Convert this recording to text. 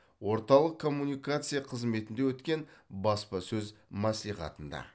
орталық коммуникация қызметінде өткен баспасөз мәслихатында